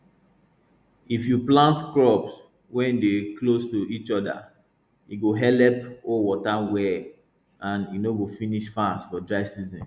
if you plant crops wey dey close to each other e go helep hold water well and e no go finish fast for dry season